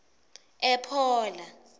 ephola